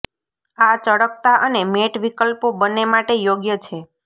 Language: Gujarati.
આ ચળકતા અને મેટ વિકલ્પો બંને માટે યોગ્ય છે